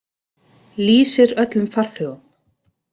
Lýsir öllum farþegum.